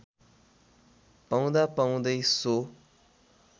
पाउँदा पाउँदै सो